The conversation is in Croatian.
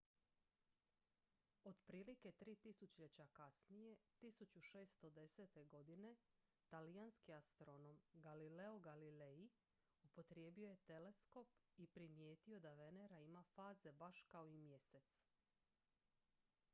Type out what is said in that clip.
otprilike tri tisućljeća kasnije 1610. godine talijanski astronom galileo galilei upotrijebio je teleskop i primijetio da venera ima faze baš kao i mjesec